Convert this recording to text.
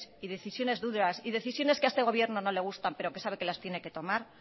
y decisiones duras y decisiones que a este gobierno no le gustan pero que sabe que las tiene que tomar